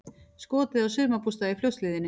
Skotið á sumarbústað í Fljótshlíðinni